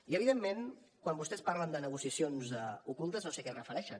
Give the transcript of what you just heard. i evidentment quan vostès parlen de negociacions ocultes no sé a què es refereixen